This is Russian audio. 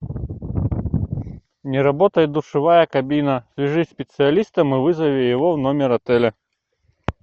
не работает душевая кабина свяжись со специалистом и вызови его в номер отеля